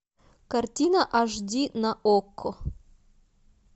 картина аш ди на окко